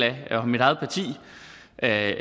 af